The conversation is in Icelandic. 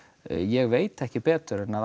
ég veit ekki betur en að